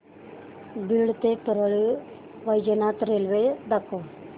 बीड ते परळी वैजनाथ रेल्वे दाखव